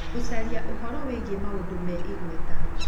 gũcaria ũhoro wĩgiĩ mũndũ wĩ igweta